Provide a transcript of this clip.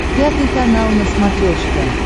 пятый канал на смотрешке